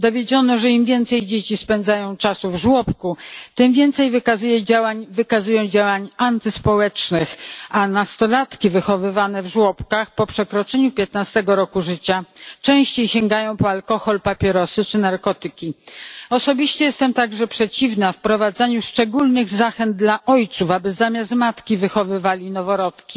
Dowiedziono, że im więcej czasu dzieci spędzają w żłobku, tym więcej wykazują postaw antyspołecznych, a nastolatki wychowywane w żłobkach po przekroczeniu piętnastego roku życia częściej sięgają po alkohol, papierosy czy narkotyki. Osobiście jestem także przeciwna wprowadzaniu szczególnych zachęt dla ojców, aby zamiast matki wychowywali noworodki,